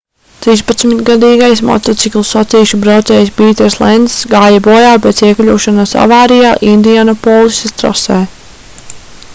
trīspadsmitgadīgais motociklu sacīkšu braucējs pīters lencs gāja bojā pēc iekļūšanas avārijā indianapolisas trasē